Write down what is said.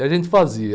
E a gente fazia.